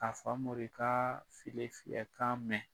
Ka Famori ka file fiyɛ kan mɛn.